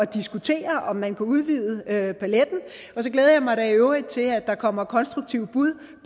diskutere om man kan udvide paletten og så glæder jeg mig da i øvrigt til at der kommer konstruktive bud